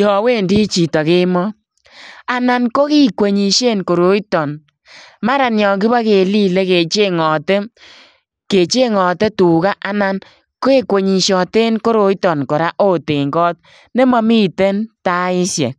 yaan wendii chitoo kemoi anan ko kikwenyisien koroi maran yaan kibakelilee kechengate tugaa anan kekwenyisiateen koroitaan kora oot en koot nema miten taisheek.